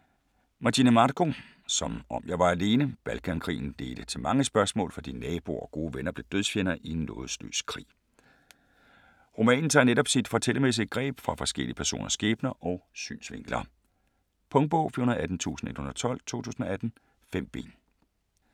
Magini, Marco: Som om jeg var alene Balkankrigen ledte til mange spørgsmål, fordi naboer og gode venner blev dødsfjender i en nådesløs krig. Romanen tager netop sit fortællermæssige greb fra forskellige personers skæbner og synsvinkler. Punktbog 418112 2018. 5 bind.